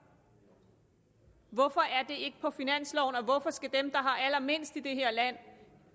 hvorfor er det på finansloven og hvorfor skal dem der har allermindst i det her land